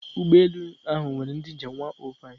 Ụgbọ elu ahụ nwere ndị njem 105